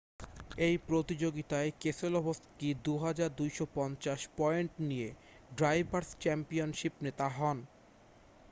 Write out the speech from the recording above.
এই প্রতিযোগীতায় Keselowski 2,250 point নিয়ে ড্রাইভারস' চ্যাম্পিয়নশিপ নেতা হন